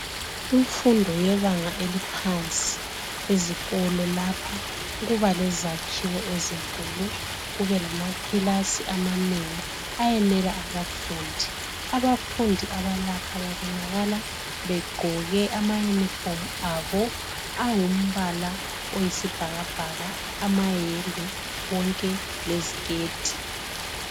Imfundo yebanga eliphansi ezikolo lapha kuba lezakhiwo ezinkulu kube lamakilasi amanengi ayenela abafundi. Abafundi abalapha babonakala begqoke ama yunifomu abo angumbala oyisi bhakabhaka amayembe konke leziketi.